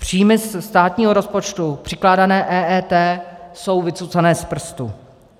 Příjmy ze státního rozpočtu přikládané EET jsou vycucané z prstu.